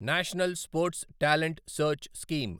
national sports talent search scheme